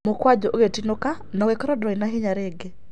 Mukwanjũ ũgĩtinĩka na ũgĩkorwo ndũri na hinya rĩngĩ.